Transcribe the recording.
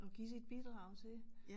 At give sit bidrag til